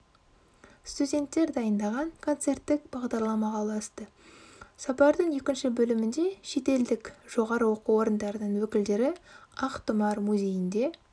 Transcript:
студенттер дайындаған концерттік бағдарламаға ұласты сапардың екінші бөлімінде шетелдік жоғары оқу орындарының өкілдері ақтұмар музейінде